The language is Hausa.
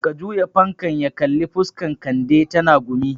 Ka juya fankan ya kalli fuskan Kande, tana gumi